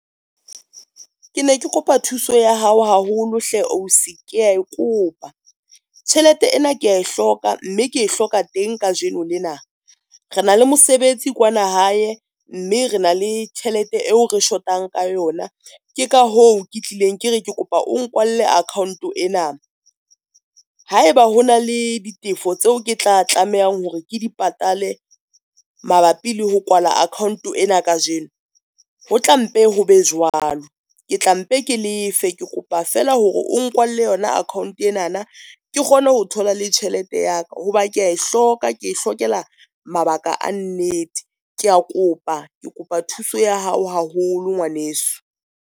Ke ne ke kopa thuso ya hao haholo hle ausi, ke ya e kopa tjhelete ena ke ya e hloka, mme ke e hloka teng kajeno lena. Re na le mosebetsi kwana hae, mme re na le tjhelete eo re shotang ka yona. Ke ka hoo ke tlileng ke re ke kopa o nkwalle account ena, haeba ho na le ditefo tseo ke tla tlamehang hore ke di patale mabapi le ho kwala account-o ena kajeno, ho tla mpe ho be jwalo. Ke tla mpe ke lefe, ke kopa fela hore o nkwalelle yona account ena na ke kgone ho thola le tjhelete ya ka. Hoba ke ya e hloka ke hlokela mabaka a nnete. Ke a kopa ke kopa thuso ya hao haholo ngwaneso.